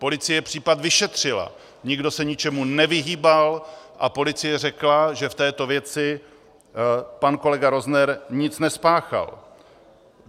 Policie případ vyšetřila, nikdo se ničemu nevyhýbal a policie řekla, že v této věci pan kolega Rozner nic nespáchal.